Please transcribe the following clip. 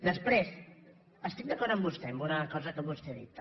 després estic d’acord amb vostè en una cosa que vos·tè ha dit també